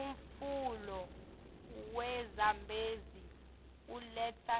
umfula we zambezi uletsa